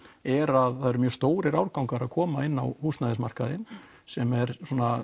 er að það eru mjög stórir árgangar að koma inn á húsnæðismarkaðinn sem er